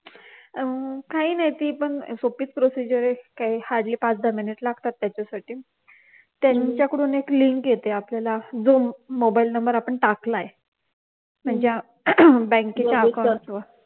काही नाही ती पण सोप्पीच procedure आहे काय hardly पाच सहा minutes लागतात त्याच्यासाठी त्यांच्याकडून एक link येते आपल्याला जो मोबाइलला नंबर आपण टाकलाय ज्या बँकेचं account असत